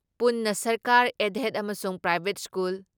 ꯄꯨꯟꯅ ꯁꯔꯀꯥꯔ, ꯑꯦꯗꯦꯗ ꯑꯃꯁꯨꯡ ꯄ꯭ꯔꯥꯏꯚꯦꯠ ꯁ꯭ꯀꯨꯜ